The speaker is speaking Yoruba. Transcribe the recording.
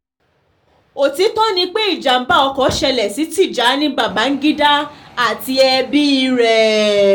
òtítọ́ ni pé ìjàm̀bá ọkọ̀ ṣẹlẹ̀ sí tìjẹni bàgbígídá àti ẹbí rẹ̀